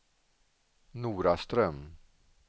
Noraström